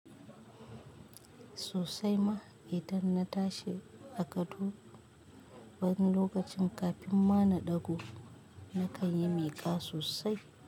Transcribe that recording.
Sosai ma, idan na tashi a gado wani lokacin kafin ma na ɗago, na kan yi miƙa sosai.